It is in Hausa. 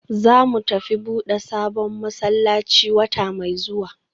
Zamu tafi buda sabon masallaci wata mai zuwa